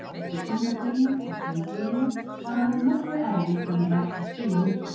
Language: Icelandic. Eftir fína byrjun á tímabilinu var orðið nokkuð erfitt að vera ekki að spila mikið.